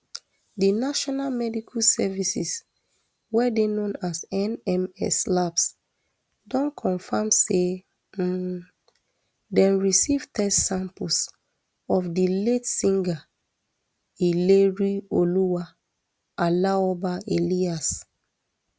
di national medical services wey dey known as nms labs don confam say um dem receive test samples of di late singer ilerioluwa aloba alias